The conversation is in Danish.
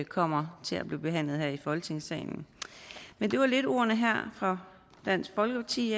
kommer til at blive behandlet her i folketingssalen men det var lidt ordene her fra dansk folkeparti